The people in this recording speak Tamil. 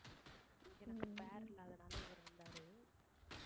எனக்கு pair இல்லாதனால இவரு வந்தாரு